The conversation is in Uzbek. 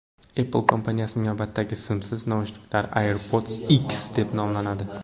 Apple kompaniyasining navbatdagi simsiz naushniklari AirPods X deb nomlanadi.